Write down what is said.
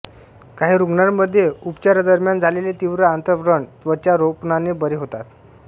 काहीं रुग्णामध्ये उअपचारादरम्यान झालेले तीव्र आंत्र व्रण त्वचा रोपणाने बरे होतात